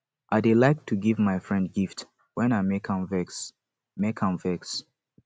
i dey like to give my friend gift wen i make am vex make am vex